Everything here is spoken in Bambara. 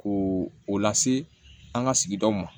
Ko o lase an ka sigidaw ma